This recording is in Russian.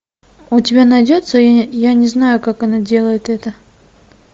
у тебя найдется я не знаю как она делает это